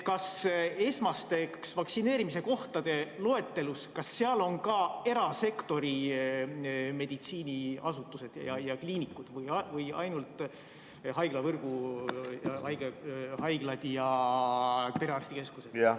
Kas esmaste vaktsineerimiskohtade loetelus on ka erasektori meditsiiniasutused ja kliinikud või ainult haiglavõrgu haiglad ja perearstikeskused?